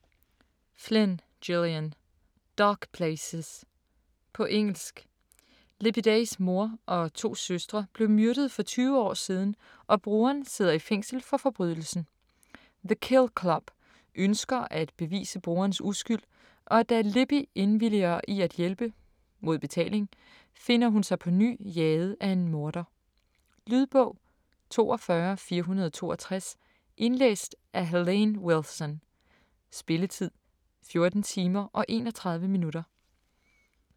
Flynn, Gillian: Dark places På engelsk. Libby Days mor og to søstre blev myrdet for 20 år siden, og broderen sidder i fængsel for forbrydelsen. The Kill Club ønsker at bevise broderens uskyld, og da Libby indvilliger i at hjælpe - mod betaling - finder hun sig på ny jaget af en morder. Lydbog 42462 Indlæst af Helene Wilson Spilletid: 14 timer, 31 minutter.